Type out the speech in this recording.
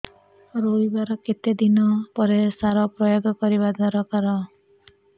ରୋଈବା ର କେତେ ଦିନ ପରେ ସାର ପ୍ରୋୟାଗ କରିବା ଦରକାର